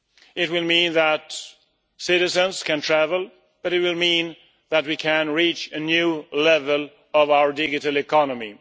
It will mean that citizens can travel, but it will mean that we can reach a new level of our digital economy.